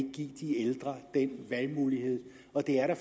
give de ældre den valgmulighed og det er da